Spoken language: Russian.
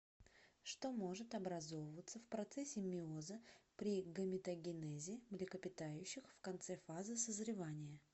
что может образовываться в процессе мейоза при гаметогенезе млекопитающих в конце фазы созревания